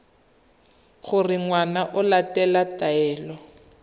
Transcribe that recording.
gore ngwana o latela taelo